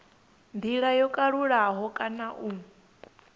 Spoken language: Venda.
ndila yo kalulaho kana u